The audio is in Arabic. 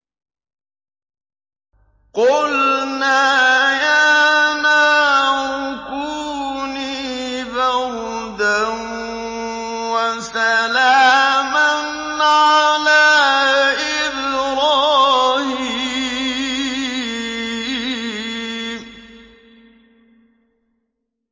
قُلْنَا يَا نَارُ كُونِي بَرْدًا وَسَلَامًا عَلَىٰ إِبْرَاهِيمَ